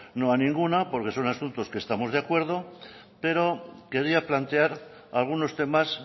no a ninguna porque son asuntos que estamos de acuerdo pero quería plantear algunos temas